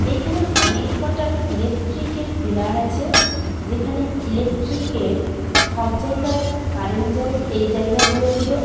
এইখানে অনেক কটা ইলেকট্রিকের পিলার আছে যেখানে ইলেকট্রিকের সব জায়গায় কারেন্ট যায় এই জায়গা গুলো থেকে।